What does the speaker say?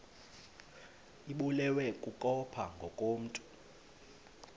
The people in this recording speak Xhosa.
ibulewe kukopha ngokomntu